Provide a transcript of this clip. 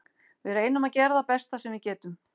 Við reynum að gera það besta sem við getum.